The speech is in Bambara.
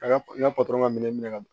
A ka n ka ka minɛ minɛ ka